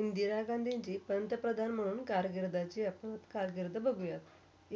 इंदिरा गांधी पंतप्रधान म्हणून कारगिरडच्या, कारगिर्द बघूया.